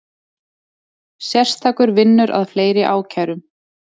Sérstakur vinnur að fleiri ákærum